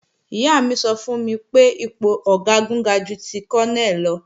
Ìyá mi sọ fún mi pé ipò Ọ̀gágun ga ju ti Kọ́nẹ̀ lọ